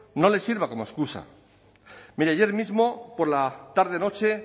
no les sirva como excusa mire ayer mismo por la tarde noche